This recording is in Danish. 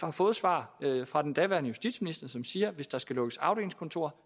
har fået svar fra den daværende justitsminister som siger hvis der skal lukkes afdelingskontorer